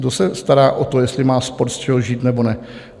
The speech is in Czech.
Kdo se stará o to, jestli má sport z čeho žít, nebo ne?